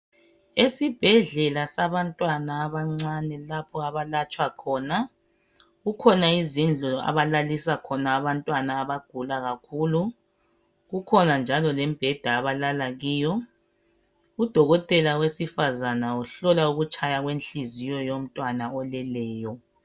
Esibhedlela sabantwana abancane lapha abalatshwa khona kukhona izindlu abalalisa khona abantwana abagula kakhulu kukhona njalo lembheda abalala kiyo udokotela wesifazana uhlola ukutshaya kwenhliziyo yomntwana oleleyo